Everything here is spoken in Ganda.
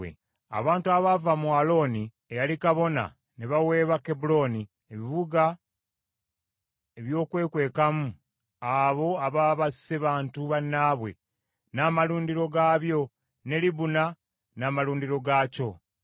Abantu abaava mu Alooni eyali kabona ne baweebwa Kebbulooni, ebibuga ebyokwekwekamu abo ababa basse bantu bannaabwe, n’amalundiro gaabyo ne Libuna n’amalundiro gaakyo,